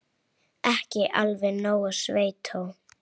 Ekki alveg nógu sveitó.